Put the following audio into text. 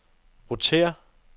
rotér